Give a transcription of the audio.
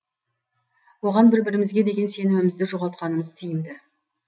оған бір бірімізге деген сенімімізді жоғалтқанымыз тиімді